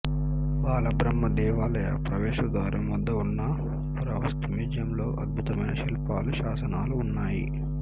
బాల బ్రహ్మ దేవాలయ ప్రవేశద్వారం వద్ద ఉన్న పురావస్తు మ్యూజియంలో అద్భుతమైన శిల్పాలు శాసనాలు ఉన్నాయి